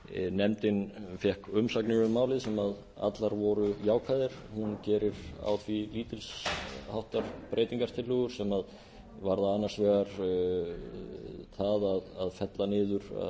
nefndin fékk umsagnir um málið sem allar voru jákvæðar hún gerir á því lítils háttar breytingartillögur sem varða annars vegar það að fella niður